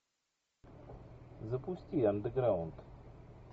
запусти андеграунд